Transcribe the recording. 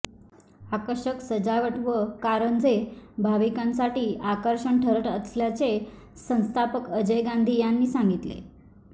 आकर्षक सजावट व कारंजे भाविकांसाठी आकर्षण ठरत असल्याचे संस्थापक अजय गांधी यांनी सांगितले